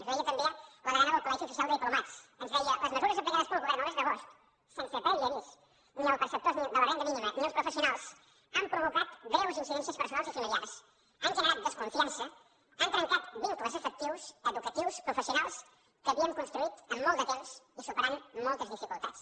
ens ho deia també la degana del col·legi oficial de diplomats ens deia les mesures aplicades pel govern el mes d’agost sense previ avís ni als perceptors de la renda mínima ni als professionals han provat greus incidències personals i familiars han generat desconfiança han trencat vincles afectius educatius professionals que havíem construït en molt de temps i superant moltes dificultats